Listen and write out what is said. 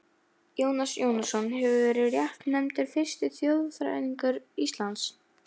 Jónas Jónasson hefur verið réttnefndur fyrsti þjóðfræðingur Íslands.